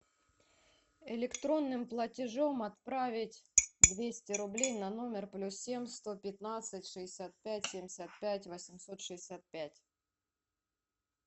электронным платежом отправить двести рублей на номер плюс семь сто пятнадцать шестьдесят пять семьдесят пять восемьсот шестьдесят пять